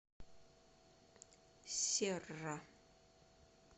серра